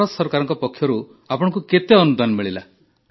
ଭାରତ ସରକାରଙ୍କ ପକ୍ଷରୁ ଆପଣଙ୍କୁ କେତେ ଅନୁଦାନ ମିଳିଲା